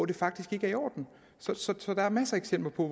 det faktisk ikke er i orden så der er masser af eksempler på